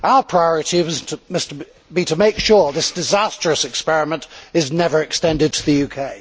Our priority must be to make sure this disastrous experiment is never extended to the UK.